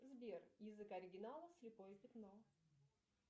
сбер язык оригинала слепое пятно